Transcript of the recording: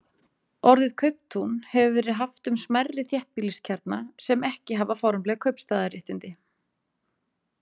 Orðið kauptún hefur verið haft um smærri þéttbýliskjarna sem ekki hafa formleg kaupstaðarréttindi.